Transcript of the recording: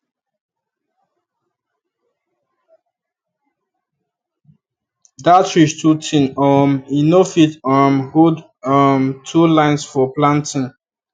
dat ridge too thin um e no fit um hold um two line for planting